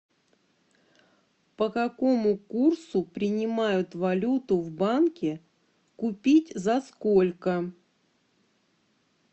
по какому курсу принимают валюту в банке купить за сколько